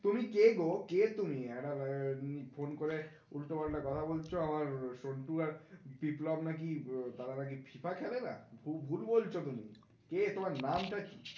তুমি কে গো কে তুমি? ফোন করে উল্টোপাল্টা কথা বলছো আমার সন্টু আর বিপ্লব নাকি তারা নাকি FIFA খেলেন, ভুল বলছো তুমি, কে তোমার নাম টা কী?